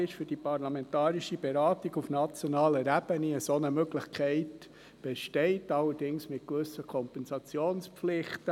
Im RPG 2, das für die parlamentarische Beratung auf nationaler Ebene bereit ist, ist eine solche Möglichkeit vorgesehen, allerdings mit gewissen Kompensationspflichten.